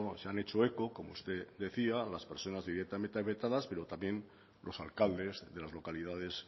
se han hecho eco como usted decía las personas directamente afectadas pero también los alcaldes de las localidades